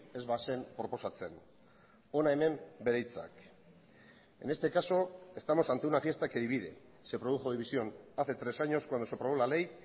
ez bazen proposatzen hona hemen bere hitzak en este caso estamos ante una fiesta que divide se produjo división hace tres años cuando se aprobó la ley